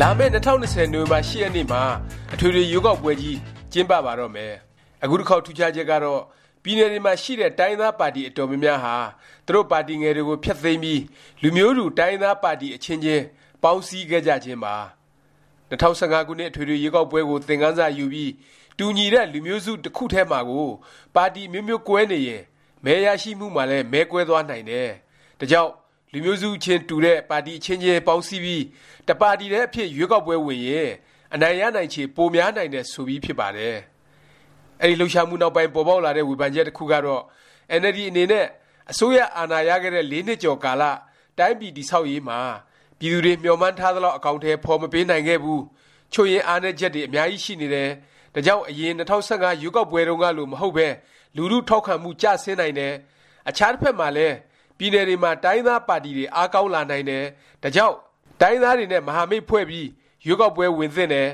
လာမယ့် ၂၀၂၀ နိုဝင်ဘာ ၈ ရက်နေ့မှာ အထွေထွေ ရွေးကောက်ပွဲကြီး ကျင်းပ ပါတော့မယ်။ အခုတစ်ခေါက် ထူးခြားချက်ကတော့ ပြည်နယ်တွေမှာ ရှိတဲ့ တိုင်းရင်းသားပါတီ အတော်များများဟာ သူတို့ပါတီငယ်တွေကို ဖျက်သိမ်းပြီး လူမျိုးတူ တိုင်းရင်းသား ပါတီ အချင်းချင်း ပေါင်းစည်းခဲ့ကြခြင်းပါ။ ၂၀၁၅ ခုနှစ် အထွေထွေ ရွေးကောက်ပွဲကို သင်ခန်းစာယူပြီး တူညီတဲ့ လူမျိုးစု တစ်ခုထဲမှာကို ပါတီ အမျိုးမျိုးကွဲနေရင် မဲရရှိမှုမှာလည်း မဲကွဲသွားနိုင်တယ်၊ ဒါကြောင့် လူမျိုးစုချင်း တူတဲ့ ပါတီ အချင်းချင်း ပေါင်းစည်းပြီး တစ်ပါတီထဲ အဖြစ် ရွေးကောက်ပွဲဝင်ရင် အနိုင်ရနိုင်ချေ များပြီး ကိုယ်စားလှယ်တွေ ရွေးကောက်ခံရနိုင်ခြေ ရှိတယ် ဆိုပြီး ဖြစ်ပါတယ်။ အဲဒီလှုပ်ရှားမှုနောက်ပိုင်း ပေါ်ပေါက်လာတဲ့ ဝေဖန်ချက် တစ်ခုကတော့ အင်န်အယ်လ်ဒီ အနေနဲ့ အစိုးရ အာဏာရခဲ့တဲ့ ၄ နှစ်ကျော် ကာလ တိုင်းပြည် တည်ဆောက်ရေးမှာ ပြည်သူတွေ မျှော်မှန်းထားသလောက် အကောင်အထည် ဖော်မပေးနိုင်ခဲ့ဘူး၊ ချို့ယွင်းအားနည်းချက်တွေ အများကြီးရှိနေတယ်၊ ဒါကြောင့် အရင် ၂၀၁၅ ရွေးကောက်ပွဲတုန်းကလို မဟုတ်ပဲ လူထု ထောက်ခံမှု ကျဆင်းနိုင်တယ်၊ အခြား တစ်ဖက်မှာလည်း ပြည်နယ်တွေမှာ တိုင်းရင်းသားပါတီတွေ အားကောင်း လာနိုင်တယ်၊ ဒါကြောင့် တိုင်းရင်းသားတွေနဲ့ မဟာမိတ်ဖွဲ့ပြီး ရွေးကောက်ပွဲ ဝင်သင့်တယ်၊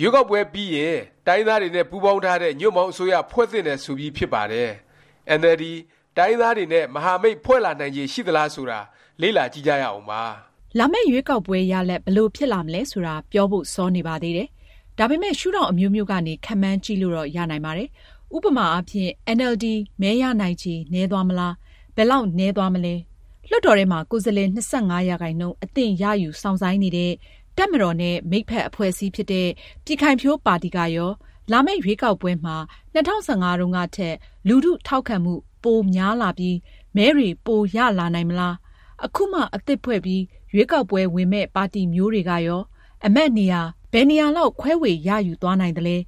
ရွေးကောက်ပွဲ ပြီးရင် တိုင်းရင်းသားတွေနဲ့ ပူးပေါင်းထားတဲ့ ညွန့်ပေါင်း အစိုးရ ဖွဲ့သင့်တယ် ဆိုပြီး ဖြစ်ပါတယ်။ အင်န်အယ်လ်ဒီ တိုင်းရင်းသားတွေနဲ့ မဟာမိတ် ဖွဲ့လာနိုင်ချေ ရှိသလား ဆိုတာ လေ့လာကြည့်ကြရအောင်ပါ။ လာမယ့် ရွေးကောက်ပွဲ ရလာဒ် ဘယ်လို ဖြစ်လာမလဲ ဆိုတာ ပြောဖို့ စောနေပါသေးတယ်။ ဒါပေမယ့် ရှုဒေါင့် အမျိုးမျိုးကနေ ခန့်မှန်းကြည့်လို့တော့ ရနိုင်ပါတယ်။ ဥပမာအားဖြင့် အင်န်အယ်လ်ဒီ မဲရနိုင်ချေ နည်းသွားမလား၊ ဘယ်လောက် နည်းသွားမလဲ။ လွှတ်တော်ထဲမှာ ကိုယ်စားလှယ် ၂၅% အသင့်ရယူ စောင့်ဆိုင်းနေတဲ့ တပ်မတော်နဲ့ မိတ်ဖက် အဖွဲ့အစည်းဖြစ်တဲ့ ပြည်ခိုင်ဖြိုးပါတီ ကရော လာမယ့် ရွေးကောက်ပွဲမှာ ၂၀၁၅ တုန်းကထက် လူထု ထောက်ခံမှု ပိုများလာပြီး၊ မဲတွေ ပိုရလာနိုင်မလား၊ အခုမှ အသစ်ဖွဲ့ပြီး ရွေးကောက်ပွဲဝင်မယ့် ပါတီမျိုးတွေကရော အမတ်နေရာ ဘယ်နှစ်နေရာလောက် ခွဲေ၀ ရယူသွားနိုင်သလဲ၊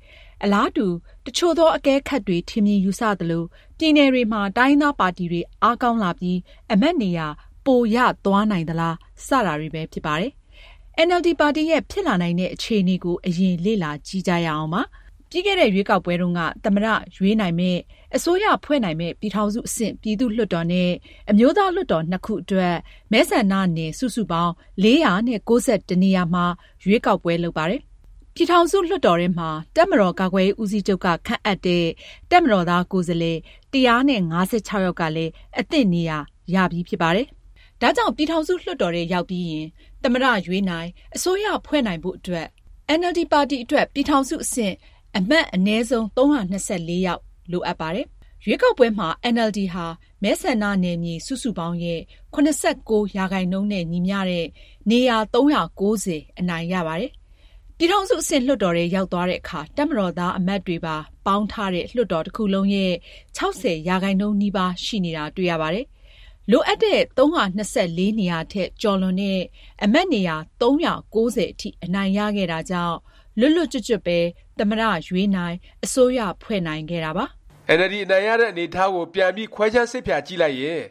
အလားတူ တစ်ချို့သော အကဲခတ်တွေ ထင်မြင်ယူဆ သလို ပြည်နယ်တွေမှာ တိုင်းရင်းသားပါတီတွေ အားကောင်းလာပြီး အမတ်နေရာ ပို ရသွားနိုင်သလား စတာတွေပဲ ဖြစ်ပါတယ်။ အင်န်အယ်လ်ဒီ ပါတီရဲ့ ဖြစ်လာနိုင်တဲ့ အခြေအနေကို အရင် လေ့လာကြည့်ကြရအောင်ပါ။ ပြီးခဲ့တဲ့ ရွေးကောက်ပွဲတုန်းက သမ္မတ ရွေးနိုင်မယ့်၊ အစိုးရဖွဲ့နိုင်မယ့် ပြည်ထောင်စု အဆင့် ပြည်သူ့လွှတ်တော်နဲ့ အမျိုးသားလွှတ်တော် နှစ်ခုအတွက် မဲဆန္ဒနယ် စုစုပေါင်း ၄၉၁ နေရာမှာ ရွေးကောက်ပွဲ လုပ်ပါတယ်။ ပြည်ထောင်စု လွှတ်တော်ထဲမှာ တပ်မတော် ကာကွယ်ရေး ဦးစီးချုပ်က ခန့်အပ်တဲ့ တပ်မတော်သား ကိုယ်စားလှယ် ၁၅၆ ယောက်ကလည်း အသင့် နေရာရပြီး ဖြစ်ပါတယ်။ ဒါကြောင့် ပြည်ထောင်စု လွှတ်တော်ထဲ ရောက်ပြီးရင် သမ္မတ ရွေးနိုင်၊ အစိုးရဖွဲ့နိုင်ဖို့ အတွက် အင်န်အယ်လ်ဒီ ပါတီအတွက် ပြည်ထောင်စု အဆင့် အမတ် အနည်းဆုံး ၃၂၄ ယောက် လိုအပ်ပါတယ်။ ရွေးကောက်ပွဲမှာ အင်န်အယ်လ်ဒီ ဟာ မဲဆန္ဒနယ်မြေ စုစုပေါင်းရဲ့ ၇၉% နဲ့ ညီမျှတဲ့ နေရာ ၃၉၀ အနိုင်ရပါတယ်။ ပြည်ထောင်စု အဆင့် လွှတ်တော်ထဲ ရောက်သွားတဲ့အခါ တပ်မတော်သား အမတ်တွေပါ ပေါင်းထားတဲ့ လွှတ်တော်တစ်ခုလုံးရဲ့ ၆၀% နီးပါး ရှိနေတာ တွေ့ရပါတယ်။ လိုအပ်တဲ့ ၃၂၄ နေရာထက် ကျော်လွန်တဲ့ အမတ်နေရာ ၃၉၀ အထိ အနိုင်ရခဲ့တာကြောင့် လွတ်လွတ်ကျွတ်ကျွတ်ပဲ သမ္မတ ရွေးနိုင်၊ အစိုးရဖွဲ့နိုင်ခဲ့တာပါ။ အင်န်အယ်လ်ဒီ အနိုင်ရတဲ့ အနေအထားကို ပြန်ပြီး ခွဲခြမ်းစိတ်ဖြာကြည့်လိုက်ရင်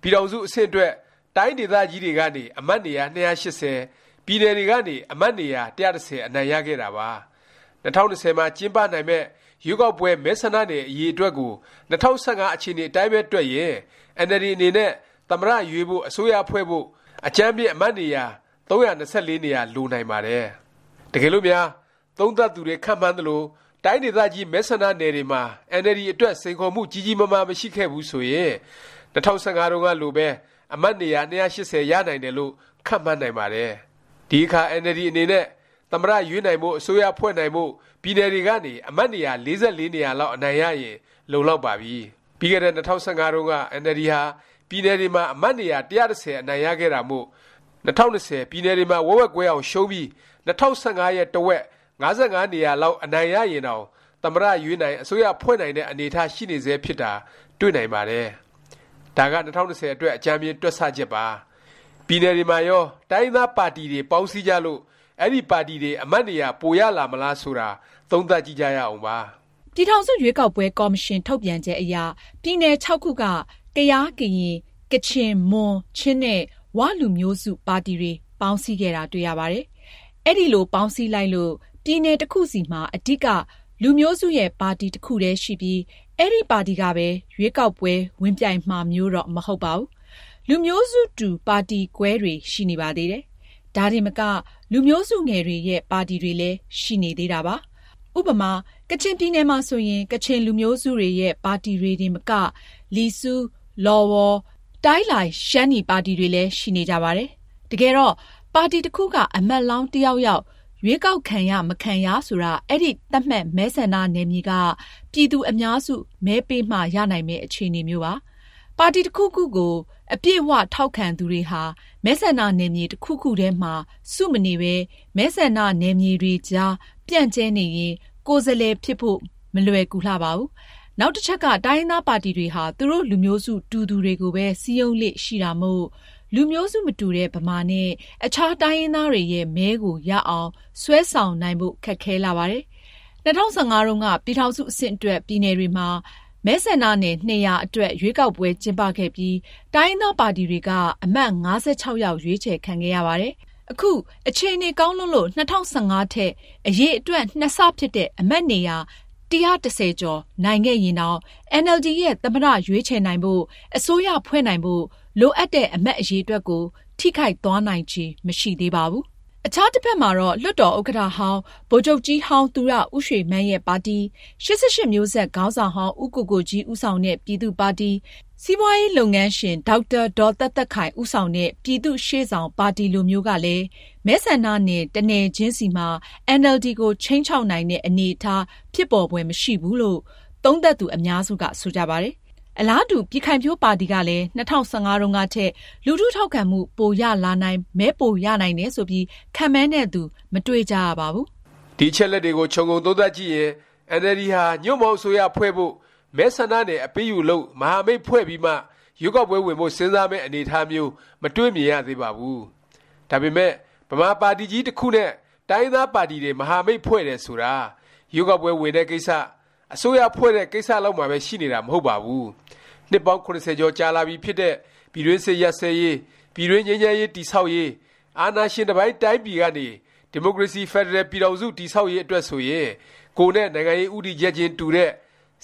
ပြည်ထောင်စု အဆင့်အတွက် တိုင်းဒေသကြီးတွေကနေ အမတ် နေရာ ၂၈၀၊ ပြည်နယ်တွေကနေ အမတ်နေရာ ၁၁၀ အနိုင်ရခဲ့တာပါ။ ၂၀၂၀ မှာ ကျင်းပနိုင်မယ့် ရွေးကောက်ပွဲ မဲဆန္ဒနယ် အရေအတွက်ကို ၂၀၁၅ အခြေအနေ အတိုင်းပဲ တွက်ရင် အင်န်အယ်လ်ဒီ အနေနဲ့ သမ္မတ ရွေးဖို့၊ အစိုးရဖွဲ့ဖို့ အကြမ်းဖျဉ်း အမတ်နေရာ ၃၂၄ နေရာ လိုနိုင်ပါတယ်။ တကယ်လို့များ သုံးသပ်သူတွေ ခန့်မှန်းသလို တိုင်းဒေသကြီး မဲဆန္ဒနယ်တွေမှာ အင်န်အယ်လ်ဒီ အတွက် စိန်ခေါ်မှု ကြီးကြီးမားမား မရှိခဲ့ဘူး ဆိုရင် ၂၀၁၅ တုန်းကလိုပဲ အမတ်နေရာ ၂၈၀ ရနိုင်တယ် လို့ ခန့်မှန်းနိုင်ပါတယ်။ ဒီအခါ အင်န်အယ်လ်ဒီ အနေနဲ့ သမ္မတရွေးနိုင်ဖို့ အစိုးရဖွဲ့နိုင်ဖို့ ပြည်နယ်တွေကနေ အမတ်နေရာ ၄၄ နေရာ လောက် အနိုင်ရရင် လုံလောက်ပါပြီ။ ပြီးခဲ့တဲ့ ၂၀၁၅ တုန်းက အင်န်အယ်လ်ဒီ ဟာ ပြည်နယ်တွေမှာ အမတ်နေရာ ၁၁၀ အနိုင်ရခဲ့တာမို့ ၂၀၂၀ ပြည်နယ်တွေမှာ ဝက်ဝက်ကွဲအောင် ရှုံးပြီး ၂၀၁၅ ရဲ့ တစ်ဝက် ၅၅ နေရာလောက် အနိုင်ရရင်တောင် သမ္မတရွေးနိုင်၊ အစိုးရဖွဲ့နိုင်တဲ့ အနေအထား ရှိနေဆဲ ဖြစ်တာ တွေ့နိုင်ပါတယ်။ ဒါက ၂၀၂၀ အတွက် အကြမ်းဖျဉ်း တွက်ဆ ချက်ပါ။ ပြည်နယ်တွေမှာရော တိုင်းရင်းသားပါတီတွေ ပေါင်းစည်းကြလို့ အဲဒီပါတီတွေ အမတ်နေရာ ပိုရလာမှာလား ဆိုတာ သုံးသပ်ကြည့်ကြရအောင်။ ပြည်ထောင်စု ရွေးကောက်ပွဲ ကော်မရှင် ထုတ်ပြန်ချက်အရ ပြည်နယ် ခုက ကယား၊ ကရင်၊ ကချင်၊ မွန်၊ ချင်း နဲ့ ၀ လူမျိုးစု ပါတီတွေ ပေါင်းစည်းခဲ့တာ တွေ့ရပါတယ်။ အဲလို ပေါင်းစည်းလိုက်လို့ ပြည်နယ် တစ်ခုစီမှာ အဓိက လူမျိုးစုရဲ့ ပါတီ တစ်ခုတည်း ရှိပြီး အဲဒီပါတီကပဲ ရွေးကောက်ပွဲ ဝင်ပြိုင်မှာမျိုးတော့ မဟုတ်ပါဘူး။ လူမျိုးစုတူ ပါတီကွဲတွေ ရှိနေပါသေးတယ်။ ဒါတင်မက လူမျိုးစုငယ်တွေရဲ့ ပါတီတွေလည်း ရှိနေသေးတာပါ။ ဥပမာ ကချင်ပြည်နယ်မှာဆိုရင် ကချင်လူမျိုးစုတွေရဲ့ ပါတီတွေတင်မက လီဆူ၊ လော်ဝေါ်၊ တိုင်းလိုင် ပါတီတွေလည်း ရှိနေကြပါတယ်။ တကယ်တော့ ပါတီတစ်ခုက အမတ်လောင်း တစ်ယောက်ယောက် ရွေးကောက်ခံရ မခံရ ဆိုတာ အဲဒီ သတ်မှတ် မဲဆန္ဒနယ်မြေက ပြည်သူ အများစု မဲပေးမှ ရနိုင်မယ့် အခြေအနေမျိုးပါ။ ပါတီ တစ်ခုခုကို အပြည့်အ၀ ထောက်ခံသူတွေဟာ မဲဆန္ဒနယ်မြေ တစ်ခုခုထဲမှာ စု မနေပဲ မဲဆန္ဒနယ်မြေတွေကြား ပြန့်ကြဲနေရင် ကိုယ်စားလှယ် ဖြစ်ဖို့ မလွယ်ကူလှပါဘူး။ နောက်တစ်ချက်က တိုင်းရင်းသားပါတီတွေဟာ သူတို့ လူမျိုးစု တူသူတွေကိုပဲ စည်းရုံးလေ့ ရှိတာမို့ လူမျိုးစု မတူတဲ့ ဗမာနဲ့ အခြား တိုင်းရင်းသားတွေရဲ့ မဲကို ရအောင် ဆွဲဆောင်နိုင်ဖို့ ခက်ခဲလှပါတယ်။ ၂၀၁၅ တုန်းက ပြည်ထောင်စု အဆင့်အတွက် ပြည်နယ်တွေမှာ မဲဆန္ဒနယ် ၂၀၀ အတွက် ရွေးကောက်ပွဲ ကျင်းပခဲ့ပြီး တိုင်းရင်းသားပါတီတွေက အမတ် ၅၆ ယောက် ရွေးချယ် ခံခဲ့ရပါတယ်။ အခု အခြေအနေ ကောင်းလွန်းလို့ ၂၀၁၅ ထက် အရေအတွက် ၂ ဆ ဖြစ်တဲ့ အမတ်နေရာ ၁၁၀ ကျော် နိုင်ခဲ့ရင်တောင် အင်န်အယ်လ်ဒီ ရဲ့ သမ္မတ ရွေးချယ်နိုင်ဖို့၊ အစိုးရဖွဲ့နိုင်ဖို့ လိုအပ်တဲ့ အမတ်အရေတွက်ကို ထိခိုက်သွားနိုင်ခြေ မရှိသေးပါဘူး။ အခြားတစ်ဖက်မှာတော့ လွှတ်တော်ဥက္ကဌဟောင်း၊ ဗိုလ်ချုပ်ကြီးဟောင်း သူရဦးရွှေမန်းရဲ့ ပါတီ၊ ၈၈မျိုးဆက် ခေါင်းဆောင်ဟောင်း ဦးကိုကိုကြီး ဦးဆောင်တဲ့ ပြည်သူ့ပါတီ၊ စီးပွားရေး လုပ်ငန်းရှင် ဒေါက်တာ ဒေါ်သက်သက်ခိုင် ဦးဆောင်တဲ့ ပြည်သူ့ရှေ့ဆောင်ပါတီ လိုမျိုးကလည်း မဲဆန္ဒနယ် တစ်နယ်ချင်းစီမှာ အင်န်အယ်လ်ဒီကို ခြိမ်းခြောက်နိုင်တဲ့ အနေအထား ဖြစ်ပေါ်ဖွယ် မရှိဘူးလို့ သုံးသပ်သူ အများစုက ဆိုကြပါတယ်။ အလားတူ ပြည်ခိုင်ဖြိုးပါတီကလည်း ၂၀၁၅ တုန်းကထက် လူထု ထောက်ခံမှု ပိုရလာနိုင်၊ မဲပိုရနိုင်တယ် ဆိုပြီး ခန့်မှန်းတဲ့သူ မတွေ့ကြရပါဘူး။ ဒီအချက်အလက်တွေကို ခြုံငုံသုံးသပ်ကြည့်ရင် အင်န်အယ်လ်ဒီဟာ ညွှန့်ပေါင်းအစိုးရ ဖွဲ့ဖို့၊ မဲဆန္ဒနယ် အပေးအယူလုပ်၊ မဟာမိတ်ဖွဲ့ပြီးမှ ရွေးကောက်ပွဲဝင်ဖို့ စဉ်းစားမယ့် အနေအထားမျိုး မတွေ့မြင်ရသေးပါဘူး။ ဒါပေမယ့် ဗမာပါတီကြီး တစ်ခုနဲ့ တိုင်းရင်းသားပါတီတွေ မဟာမိတ်ဖွဲ့တယ် ဆိုတာ ရွေးကောက်ပွဲ ဝင်တဲ့ကိစ္စ၊ အစိုးရဖွဲ့တဲ့ ကိစ္စ လောက်မှာပဲ ရှိနေတာ မဟုတ်ပါဘူး။ နှစ်ပေါင်း ၇၀ ကျော်ကြာလာပြီ ဖြစ်တဲ့ ပြည်တွင်းစစ် ရပ်စဲရေး၊ ပြည်တွင်း ငြိမ်းချမ်းရေး တည်ဆောက်ရေး၊ အာဏာရှင်တစ်ပိုင်း တိုင်းပြည်ကနေ ဒီမိုကရေစီ ဖက်ဒရယ် ပြည်ထောင်စု တည်ဆောက်ရေး အတွက်ဆိုရင် ကိုယ်နဲ့ နိုင်ငံရေး ဦးတည်ချက်ခြင်း တူတဲ့၊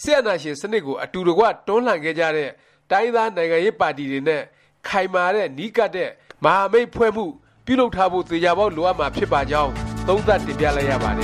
စစ်အာဏာရှင် စနစ်ကို အတူတကွ တွန်းလှန်ခဲ့ကြတဲ့ တိုင်းရင်းသား နိုင်ငံရေးပါတီတွေနဲ့ ခိုင်မာတဲ့ နီးကပ်တဲ့ မဟာမိတ်ဖွဲ့မှု ပြုလုပ်ထားဖို့ သေခြာပေါက် လိုအပ်မှာ ဖြစ်ပါကြောင်း သုံးသပ်တင်ပြလိုက်ရပါတ